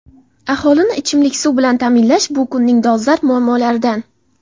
Aholini ichimlik suv bilan ta’minlash shu kunning dolzarb muammolaridan.